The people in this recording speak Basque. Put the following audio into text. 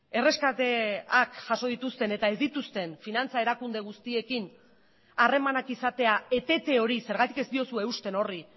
erreskateak jaso dituzten eta ez dituzten finantza erakunde guztiekin harremanak izatea etete hori zergatik ez diozue eusten horri